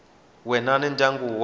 wena na ndyangu wa wena